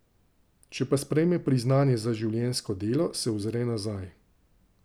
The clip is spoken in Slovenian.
Če pa sprejme priznanje za življenjsko delo, se ozre nazaj.